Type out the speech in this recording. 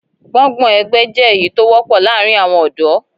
Gbọ́ngbọ̀n ẹgbẹ jẹ èyí tó wọpọ láàárín àwọn ọdọ